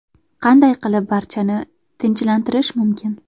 Qanday qilib barchani tinchlantirish mumkin?